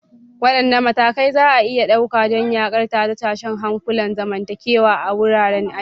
Wadanne matakai za a iya ɗauka don yaƙar tashe-tashen hankulan zamantakewa a wuraren aiki?